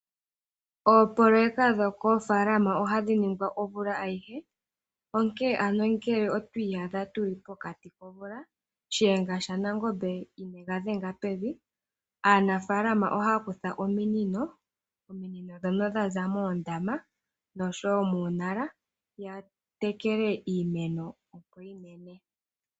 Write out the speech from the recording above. Oopoloyeka dhokoofalama ohadhi ningwa omvula ayihe onkene ngele otwi iyadha tuli pokati komvula, shiyenga shanangombe ineegadhenga pevi, aanafalama ohaya kutha ominino dhaza moondama noshowo muunala yatekele iimeno opo yimene.